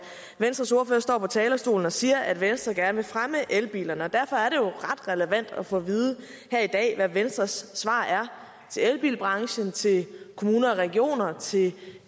venstres ordfører står på talerstolen og siger at venstre gerne vil fremme elbilerne derfor er det jo ret relevant at få at vide her i dag hvad venstres svar er til elbilbranchen til kommuner og regioner til